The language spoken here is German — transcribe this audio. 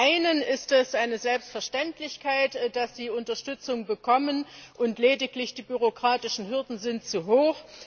Für die einen ist es eine Selbstverständlichkeit, dass sie Unterstützung bekommen, und lediglich die bürokratischen Hürden sind zu hoch.